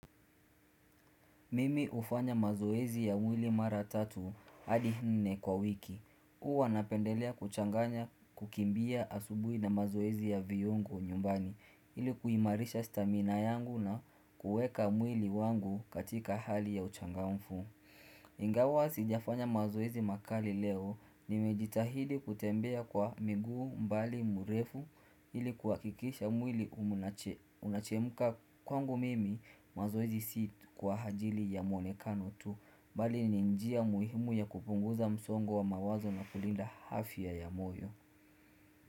Mimi hufanya mazoezi ya mwili mara tatu hadi nne kwa wiki. Huwa napendelea kuchanganya kukimbia asubuhi na mazoezi ya viungo nyumbani, ili kuimarisha stamina yangu na kuweka mwili wangu katika hali ya uchangamfu. Ingawa sijafanya mazoezi makali leo nimejitahidi kutembea kwa miguu umbali mrefu ili kuhakikisha mwili unachemka. Kwangu mimi mazoezi si kwa ajili ya muonekano tu, bali ni njia muhimu ya kupunguza msongo wa mawazo na kulinda afya ya ya moyo.